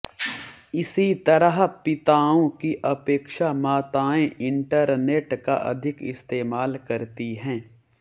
इसी तरह पिताओं की अपेक्षा माताएं इंटरनेट का अधिक इस्तेमाल करती हैं